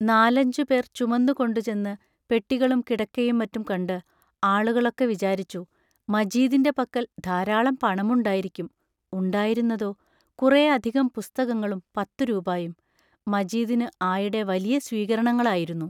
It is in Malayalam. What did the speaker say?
നാലഞ്ചുപേർ ചുമന്നുകൊണ്ടു ചെന്ന് പെട്ടികളും കിടക്കയും മറ്റും കണ്ട് ആളുകളൊക്കെ വിചാരിച്ചു, മജീദിന്റെ പക്കൽ ധാരാളം പണമുണ്ടായിരിക്കും ഉണ്ടായിരുന്നതോ, കുറേ അധികം പുസ്തകങ്ങളും പത്തു രൂപായും മജീദിന് ആയിടെ വലിയ സ്വീകരണങ്ങളായിരുന്നു.